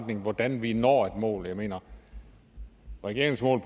til hvordan vi når et mål jeg mener regeringens mål